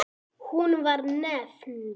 Var hún nefnd